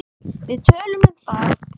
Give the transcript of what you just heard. Við töluðum um það.